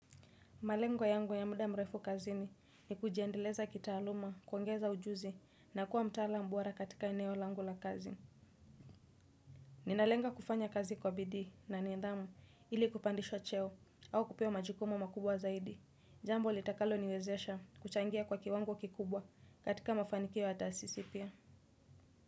Malengo yangu ya muda mrefu kazini ni kujiendeleza kitaaluma, kuongeza ujuzi na kuwa mtalaam bora katika eneo langu la kazi. Ninalenga kufanya kazi kwa bidii na nidhamu ili kupandishwa cheo au kupewa majukumu makubwa zaidi. Jambo litakaloniwezesha kuchangia kwa kiwango kikubwa katika mafanikio ya taasisi pia.